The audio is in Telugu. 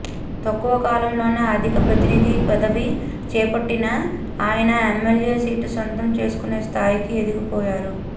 తక్కువ కాలంలోనే అదికార ప్రతినిధి పదవి చేపట్టిన ఆయన ఎమ్మెల్యే సీటు సొంతం చేసుకునే స్థాయికి ఎదిగిపోయారు